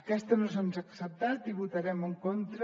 aquesta no se’ns ha acceptat i hi votarem en contra